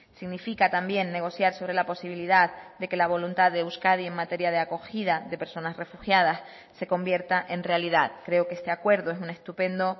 significa también negociar sobre la posibilidad de que la voluntad de euskadi en materia de acogida de personas refugiadas se convierta en realidad creo que este acuerdo es un estupendo